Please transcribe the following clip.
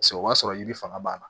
Paseke o b'a sɔrɔ yiri fanga b'a la